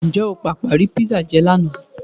Ǹjẹ́ o pàpà rí písà jẹ lánàá?